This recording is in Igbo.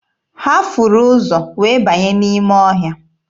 Ha furu ụzọ wee banye n'ime ọhịa.